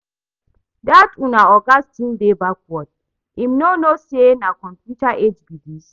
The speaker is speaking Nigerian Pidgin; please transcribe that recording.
Dat una oga still dey backward, im no know say na computer age be dis?